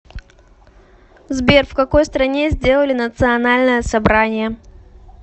сбер в какой стране сделали национальное собрание